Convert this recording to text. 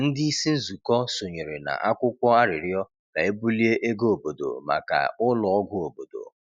Ndị isi nzụkọ sonyere na akwụkwọ arịrịọ ka e bulie ego obodo maka ụlọ ọgwụ obodo.